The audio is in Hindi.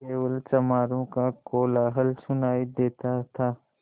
केवल चमारों का कोलाहल सुनायी देता था